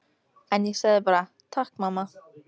En ég sagði bara: Takk mamma.